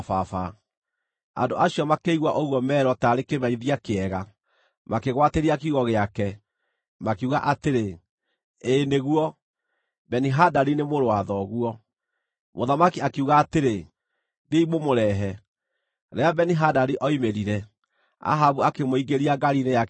Andũ acio makĩigua ũguo meerwo taarĩ kĩmenyithia kĩega, makĩgwatĩria kiugo gĩake, makiuga atĩrĩ, “Ĩĩ nĩguo, Beni-Hadadi nĩ mũrũ wa thoguo.” Mũthamaki akiuga atĩrĩ, “Thiĩi mũmũrehe.” Rĩrĩa Beni-Hadadi oimĩrire, Ahabu akĩmũingĩria ngaari-inĩ yake ya ita.